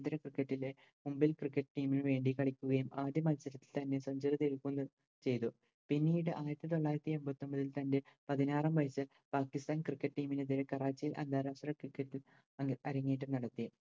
Cricket ലെ Mumbai Cricket team നുവേണ്ടി കളിക്കുകയും ആദ്യ മത്സരത്തിൽ തന്നെ യും ചെയ്തു പിന്നീട് അയിരത്തിതൊള്ളായിരത്തി എമ്പത്തൊമ്പതിൽ തൻറെ പതിനാറാം വയസ്സിൽ പാക്കിസ്ഥാൻ Cricket team നെതിരെ കറാച്ചി അന്താരാഷ്ട്ര Cricket ഇൽ അരങ്ങേറ്റം നടത്തി